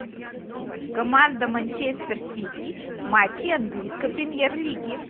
команда манчестер сити матчи английской премьер лиги